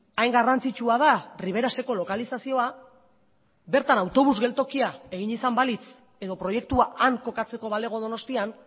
hain garrantzitsua da riberaseko lokalizazioa bertan autobus geltokia egin izan balitz edo proiektua han kokatzeko balego donostian